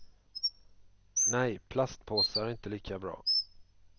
Nej, plastpåsar är inte lika bra.